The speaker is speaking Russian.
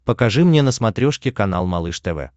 покажи мне на смотрешке канал малыш тв